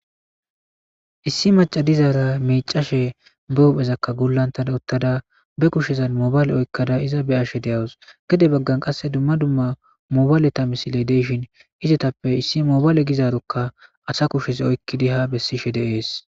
Issi macca dizaara miiccashe be huphezakka gullantada uttada be kushshezan mobayle oykkada iza be'ashe de'awus. Gede baggan qasse dumma dumma mobayleta misiley de'ishin izetappe issi mobayle gizaarokka asa kushez oykkidi ha bessishe de'es.